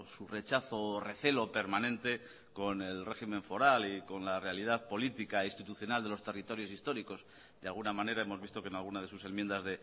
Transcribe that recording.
su rechazo o recelo permanente con el régimen foral y con la realidad política institucional de los territorios históricos de alguna manera hemos visto que en alguna de sus enmiendas